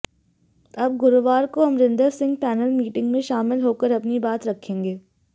अब गुरुवार को अमरिंदर सिंह पैनल मीटिंग में शामिल होकर अपनी बात रखेंगे